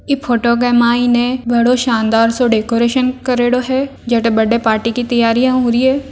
इ फोटो को मायने बड़ो शानदार सो डेकोरेशन करियोडो है जडे बड्डे पार्टी की तैयारि हो री ए।